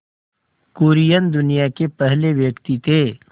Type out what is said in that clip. कुरियन दुनिया के पहले व्यक्ति थे